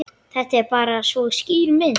Þetta er bara svo skýr mynd.